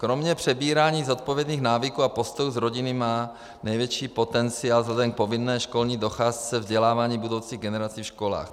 Kromě přebírání zodpovědných návyků a postojů z rodiny má největší potenciál vzhledem k povinné školní docházce vzdělávání budoucích generací ve školách.